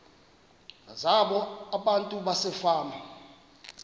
zabo abantu basefama